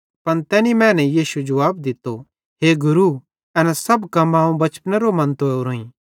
पन तैनी मैने यीशु जुवाब दित्तो हे गुरू एना सब हुक्म अवं बचपनेरो मन्तो ओरोईं